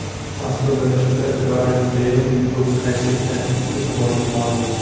Mazkur bellashuvda Garet Beyl dubl qayd etgani e’tiborga molik.